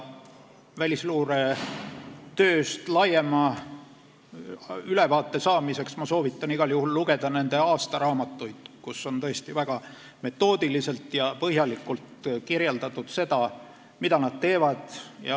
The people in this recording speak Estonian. Välisluure tööst laiema ülevaate saamiseks ma soovitan igal juhul lugeda nende aastaraamatuid, kus on tõesti väga metoodiliselt ja põhjalikult kirjeldatud seda, mida nad teevad.